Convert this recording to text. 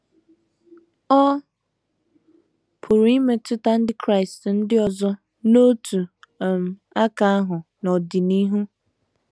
Ọ pụrụ imetụta ndị Kraịst ndị ọzọ n’otu um aka ahụ n’ọdịnihu.